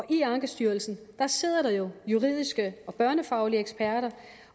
i ankestyrelsen sidder der juridiske og børnefaglige eksperter